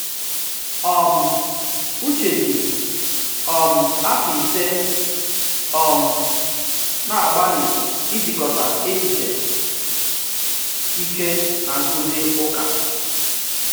um Uche ji um afọ ise um na-agbalị ijikọta echiche Ike na nkuzi ụka.